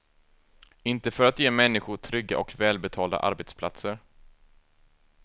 Inte för att ge människor trygga och välbetalda arbetsplatser.